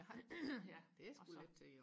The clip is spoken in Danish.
ja der skulle lidt til jo